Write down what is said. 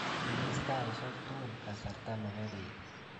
imis taisiek tugul kasarta nepo beet